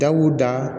Dab'u da